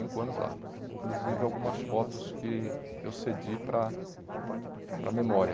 anos lá Inclusive algumas fotos que eu cedi para a para a memória.